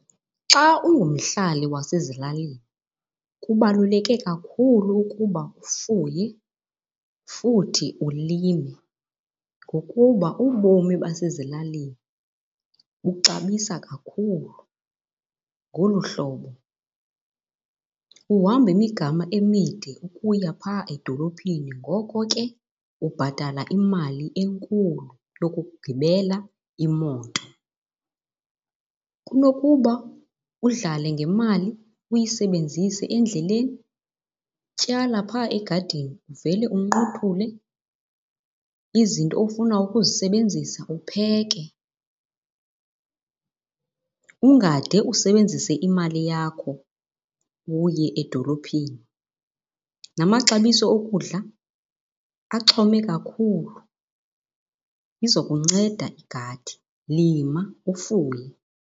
Xa ungumhlali wasezilalini kubaluleke kakhulu ukuba ufuye futhi ulime ngokuba ubomi basezilalini buxabisa kakhulu ngolu hlobo. Uhamba imigama emide ukuya phaa edolophini ngoko ke ubhatala imali enkulu yokugibela imoto. Kunokuba udlale ngemali uyisebenzise endleleni, tyala phaa egadini uvele unqothule izinto ofuna ukuzisebenzisa upheke. Ungade usebenzise imali yakho uye edolophini. Namaxabiso okudla axhome kakhulu, iza kunceda igadi. Lima ufuye.